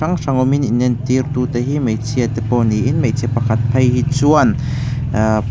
hrang hrang awmin in entir tu tehi hmeichhia te pawh niin hmeichhe pakhat phei hi chuan ahh--